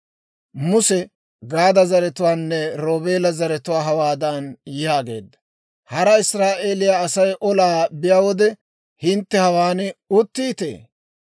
Muse Gaada zaratuwaanne Roobeela zaratuwaa hawaadan yaageedda; «Hara Israa'eeliyaa Asay olaa biyaa wode, hintte hawaan uttiitee?